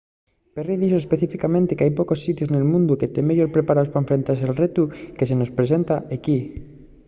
perry dixo específicamente que hai pocos sitios nel mundu que tean meyor preparaos pa enfrentase al retu que se mos presenta equí.